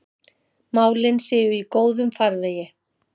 Málin séu í góðum farvegi.